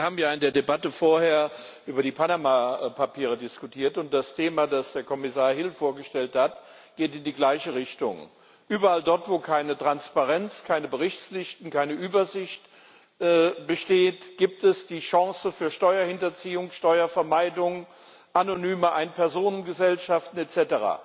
Wir haben ja in der Debatte vorher über die Panama Papiere diskutiert, und das Thema, das Kommissar Hill vorgestellt hat, geht in die gleiche Richtung Überall dort, wo keine Transparenz, keine Berichtspflichten, keine Übersicht bestehen, gibt es die Chance für Steuerhinterziehung, Steuervermeidung, anonyme Ein Personen Gesellschaften etc.